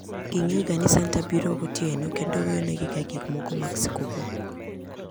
Gingeyoga ni santa biro gotieno kendo weyonegi gikmoko mag skuku.